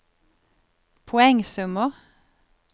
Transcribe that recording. poengsummer